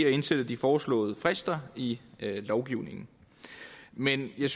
at indsætte de foreslåede frister i lovgivningen men jeg